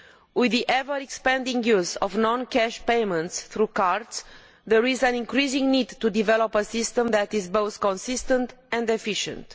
With the ever expanding use of non cash payments through cards, there is an increasing need to develop a system that is both consistent and efficient.